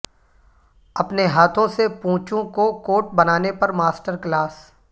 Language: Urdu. اپنے ہاتھوں سے پونچوکو کوٹ بنانے پر ماسٹر کلاس